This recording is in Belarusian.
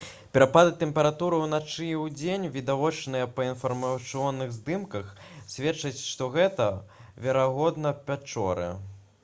перапады тэмпературы ўначы і ўдзень відавочныя па інфрачырвоных здымках сведчаць што гэта верагодна пячоры